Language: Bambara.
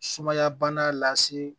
Sumaya bana lase